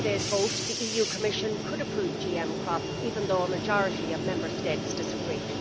Before today's vote the Commission could approve GM crops even though a majority of Member States disagreed.